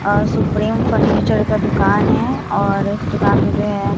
और supreme furniture का दुकान है और इस दुकान में जो है।